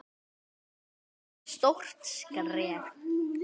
Þetta sé því stórt skref.